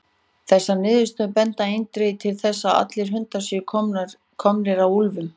Þessar niðurstöður benda eindregið til þess að allir hundar séu komnir af úlfum.